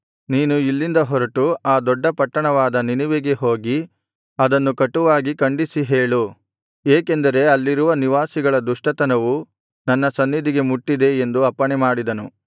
ನೀನು ಇಲ್ಲಿಂದ ಹೊರಟು ಆ ದೊಡ್ಡ ಪಟ್ಟಣವಾದ ನಿನೆವೆಗೆ ಹೋಗಿ ಅದನ್ನು ಕಟುವಾಗಿ ಖಂಡಿಸಿ ಹೇಳು ಏಕೆಂದರೆ ಅಲ್ಲಿರುವ ನಿವಾಸಿಗಳ ದುಷ್ಟತನವು ನನ್ನ ಸನ್ನಿಧಿಗೆ ಮುಟ್ಟಿದೆ ಎಂದು ಅಪ್ಪಣೆಮಾಡಿದನು